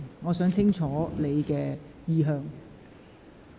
我想清楚了解你的意向。